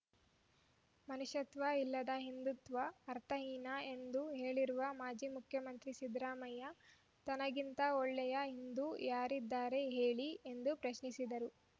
ಮನುಷ್ಯತ್ವ ಇಲ್ಲದ ಹಿಂದುತ್ವ ಅರ್ಥಹೀನ ಎಂದು ಹೇಳಿರುವ ಮಾಜಿ ಮುಖ್ಯಮಂತ್ರಿ ಸಿದ್ದರಾಮಯ್ಯ ತನಗಿಂತ ಒಳ್ಳೆಯ ಹಿಂದು ಯಾರಿದ್ದಾರೆ ಹೇಳಿ ಎಂದು ಪ್ರಶ್ನಿಸಿದರು